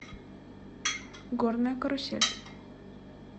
горная карусель